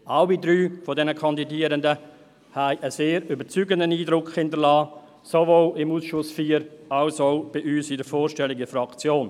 Alle drei dieser Kandidierenden haben einen sehr überzeugenden Eindruck hinterlassen, sowohl im Ausschuss IV als auch bei uns in der Vorstellung in der Fraktion.